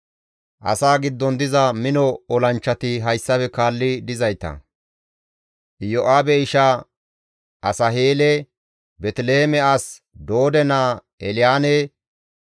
Asaa giddon diza mino olanchchati hayssafe kaalli dizayta, Iyo7aabe isha Asaheele, Beeteliheeme as Doode naa Elyaane,